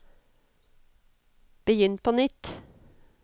begynn på nytt